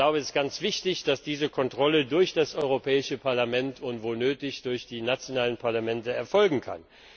Es ist ganz wichtig, dass diese Kontrolle durch das Europäische Parlament und, wo nötig, durch die nationalen Parlamente erfolgen kann.